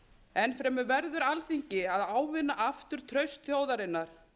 enn fremur verður alþingi að ávinna aftur traust þjóðarinnar